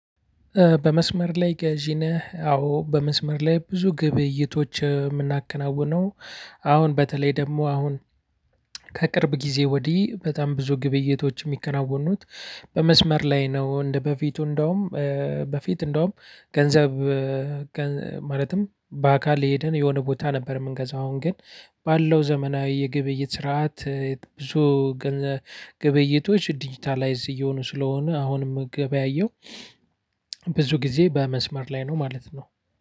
በመስመር ላይ ገዢ ነህ። አዎ በመስመር ላይ ብዙ ግብይቶች ምናከናውነው። አሁን በተለይ ደግሞ አሁን ከቅርብ ጊዜ ወዲህ በጣም ብዙ ግብይቶች ሚከናወኑት በመስመር ላይ ነው። እንደበፊቱ እንደውም በፊት እንደውም ገንዘብ ማለትም በአካል ሄደን የሆነ ቦታ ነበር ምንገዛው አሁን ግን ባለው ዘመናዊ የግብይት ስርዓት ብዙ ግብይቶች ዲጂታላይዝ እየሆኑ ስለሆነ አሁን ምገበያየው። ብዙ ጊዜ በመስመር ላይ ነው ማለት ነው።